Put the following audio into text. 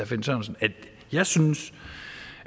finn sørensen at jeg synes